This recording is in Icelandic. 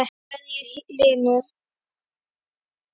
kveðja, Hlynur.